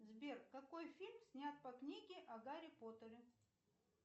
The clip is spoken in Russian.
сбер какой фильм снят по книге о гарри поттере